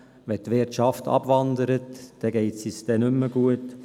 Wenn die Wirtschaft abwandert, geht es uns nicht mehr gut.